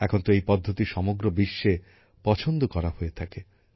এখন তো এই পদ্ধতি সমগ্র বিশ্বে পছন্দ করা হয়ে থাকে